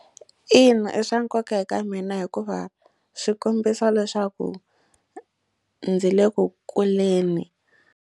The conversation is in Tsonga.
Ina i swa nkoka eka mina hikuva swi kombisa leswaku ndzi le ku kuleni.